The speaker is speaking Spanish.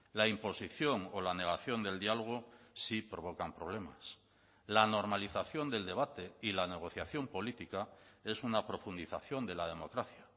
la imposición o la negación del diálogo sí provocan problemas la normalización del debate y la negociación política es una profundización de la democracia